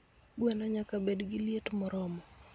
Gweno nyaka bed gi liet moromo.